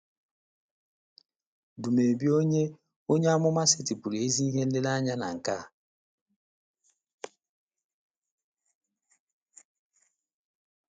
Dumebi onye onye amụma setịpụrụ ezi ihe nlereanya na nke a.